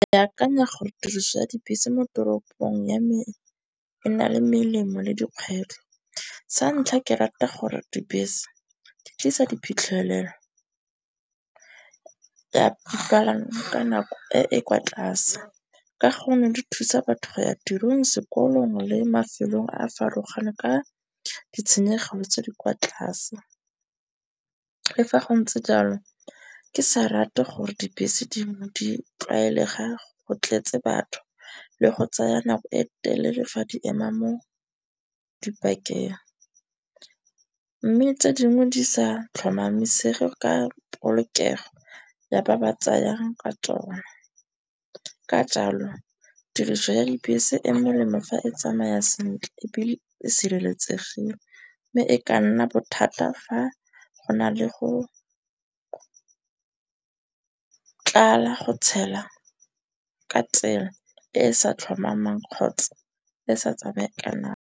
Ke akanya gore tiriso ya dibese mo toropong ya me e na le melemo le dikgwetlho. Santlha, ke rata gore dibese di tlisa diphitlhelelo ya palang ka nako e e kwa tlase. Ka gonne di thusa batho go ya tirong, sekolong le mafelong a a farologaneng ka ditshenyegelo tse di kwa tlase. Le fa go ntse jalo ke sa rate gore dibese di tlwaelega go tletse batho le go tsaya nako e telele fa di ema mo di-park-eng. Mme tse dingwe di sa tlhomamisege ka polokego ya ba ba tsayang ka tsona. Ka jalo tiriso ya dibese e melemo fa e tsamaya sentle ebile e sireletsegileng. Mme e ka nna bothata fa go na le go tlala go tshela ka tsela e e sa tlhomamang kgotsa e sa tsamayeng ka .